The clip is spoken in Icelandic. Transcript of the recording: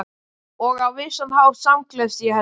Og á vissan hátt samgleðst ég henni.